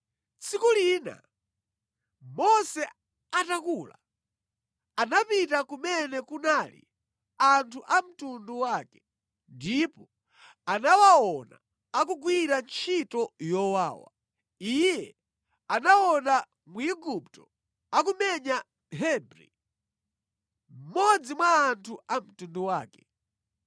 Tsiku lina, Mose atakula, anapita kumene kunali anthu a mtundu wake ndipo anawaona akugwira ntchito yowawa. Iye anaona Mwigupto akumenya Mhebri, mmodzi mwa anthu a mtundu wake.